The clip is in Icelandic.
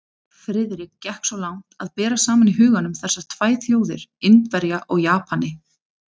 Friðrik gekk svo langt að bera saman í huganum þessar tvær þjóðir, Indverja og Japani.